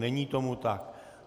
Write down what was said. Není tomu tak.